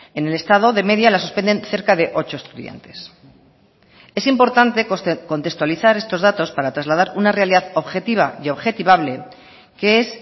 en el estado de media la suspenden cerca de ocho estudiantes es importante contextualizar estos datos para trasladar una realidad objetiva y objetivable que es